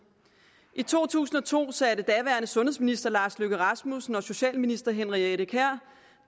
i to tusind og to satte daværende sundhedsminister lars løkke rasmussen og socialminister henriette kjær